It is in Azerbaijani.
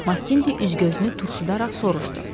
Makkinte üz-gözünü turşudaraq soruşdu.